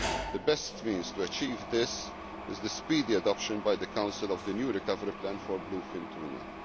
The best means to achieve this is the speedy adoption by the Council of the new recovery plan for bluefin tuna.